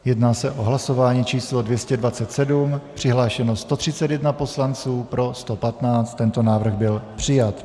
Jedná se o hlasování číslo 227, přihlášeno 131 poslanců, pro 115, tento návrh byl přijat.